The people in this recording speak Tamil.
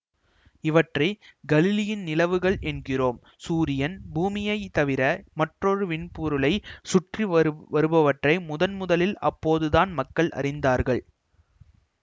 இவற்றை கலிலியின் நிலவுகள் என்கிறோம் சூரியன் பூமியை தவிர மற்றொரு விண்பொருளை சுற்றி வரு வருபவற்றை முதன்முதலில் அப்போது தான் மக்கள் அறிந்தார்கள்